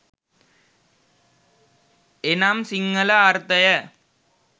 එනම් සිංහල අර්ථය